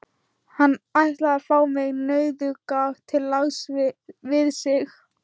Hann ætlaði að fá mig, nauðuga, til lags við sig.